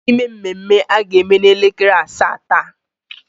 Otu n'ime mmemme a ga-eme n'elekere asaa taa.